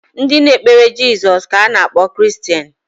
Ndị na-ekpere jesus ka a na akpọ Kiristeni